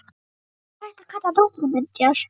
Hvað væri hægt að kalla náttúruminjar?